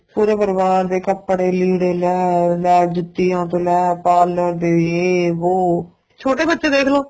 ਪੂਰੇ ਪਰਿਵਾਰ ਦੇ ਕਪੜੇ ਲੀੜੇ ਲੈ ਲੈ ਜੁਤੀਆਂ ਤੋ ਲੈ parlor ਦੇ ਯੇ ਵੋ ਛੋਟੇ ਬੱਚੇ ਦੇਖ ਲੋ